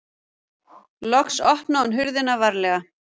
Loks opnaði hún hurðina varlega.